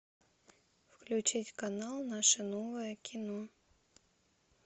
включить канал наше новое кино